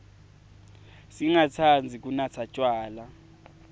singatsandzi kunatsa tjwala